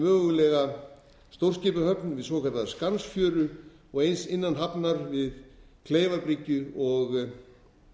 mögulega stórskipahöfn við svokallaða skansfjöru og eins innan hafnar við kleifarbryggju og